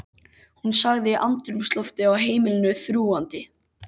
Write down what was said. Hún sagði andrúmsloftið á heimilinu þrúgandi.